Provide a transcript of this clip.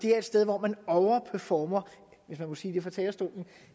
er et sted hvor man overperformer hvis man må sige det fra talerstolen